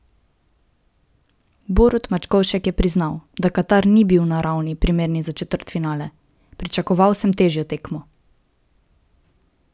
Borut Mačkovšek je priznal, da Katar ni bil na ravni, primerni za četrtfinale: "Pričakoval sem težjo tekmo.